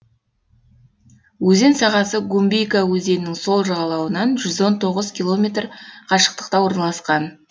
өзен сағасы гумбейка өзенінің сол жағалауынан жүз он тоғыз километр қашықтықта орналасқан